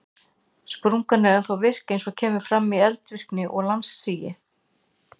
Sprungan er ennþá virk eins og kemur fram í eldvirkni og landsigi.